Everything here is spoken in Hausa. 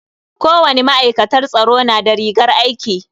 Kowani ma'aikatar tsaro na da rigar aiki.